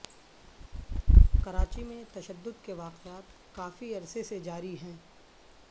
کراچی میں تشدد کے واقعات کافی عرصے سے جاری ہیں